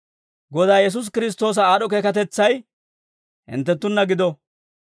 Godaa Yesuusi Kiristtoosa aad'd'o keekatetsay hinttenttunna gido.